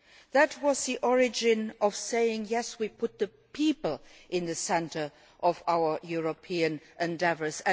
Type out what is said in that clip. That was the origin of saying yes, we put people at the centre of our European endeavours